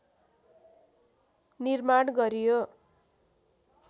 निर्माण गरियो